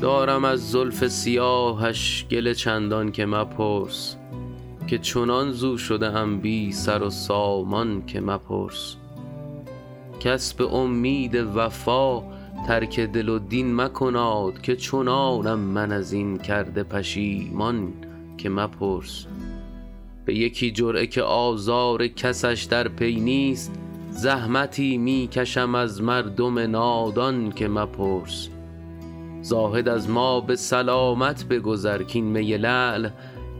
دارم از زلف سیاهش گله چندان که مپرس که چنان ز او شده ام بی سر و سامان که مپرس کس به امید وفا ترک دل و دین مکناد که چنانم من از این کرده پشیمان که مپرس به یکی جرعه که آزار کسش در پی نیست زحمتی می کشم از مردم نادان که مپرس زاهد از ما به سلامت بگذر کـ این می لعل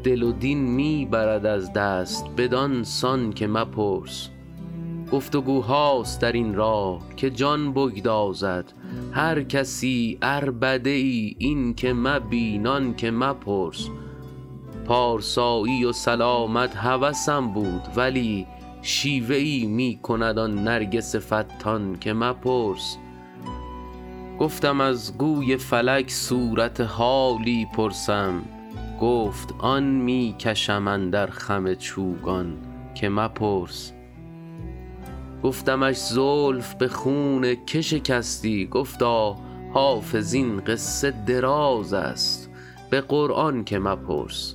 دل و دین می برد از دست بدان سان که مپرس گفت وگوهاست در این راه که جان بگدازد هر کسی عربده ای این که مبین آن که مپرس پارسایی و سلامت هوسم بود ولی شیوه ای می کند آن نرگس فتان که مپرس گفتم از گوی فلک صورت حالی پرسم گفت آن می کشم اندر خم چوگان که مپرس گفتمش زلف به خون که شکستی گفتا حافظ این قصه دراز است به قرآن که مپرس